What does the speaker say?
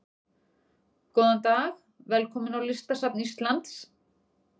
Góðan dag. Velkomin á Listasafn Íslands.